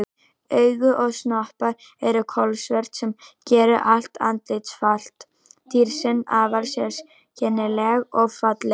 Augu og snoppa eru kolsvört sem gerir allt andlitsfall dýrsins afar sérkennilegt og fallegt.